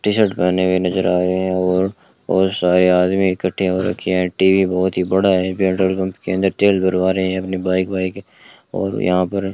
T shirt पहने हुए नजर आए हैं और और सारे आदमी इकट्ठे हो रखे हैं टी_वी बहोत ही बड़ा है पेट्रोल पंप के अंदर तेल भरवा रहे हैं अपनी बाइक वाइक और यहां पर --